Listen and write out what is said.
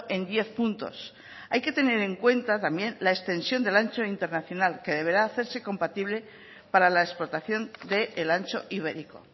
en diez puntos hay que tener en cuenta también la extensión del ancho internacional que deberá hacerse compatible para la explotación del ancho ibérico